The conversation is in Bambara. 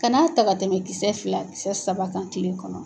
Ka n'a ta ka tɛmɛ kisɛ fila kisɛ saba kan kile kɔnɔ.